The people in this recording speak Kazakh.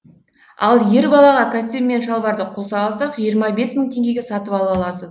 ал ер балаға костюм мен шалбарды қоса алсақ жиырма бес мың теңгеге сатып ала аласыз